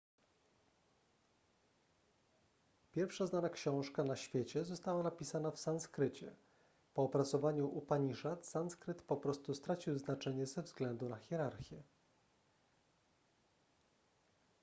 pierwsza znana książka na świecie została napisana w sanskrycie po opracowaniu upaniszad sanskryt po prostu stracił znaczenie ze względu na hierarchię